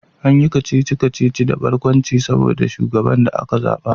An yi kacici-kacici da barkwanci game da sabon shugaban da aka zaba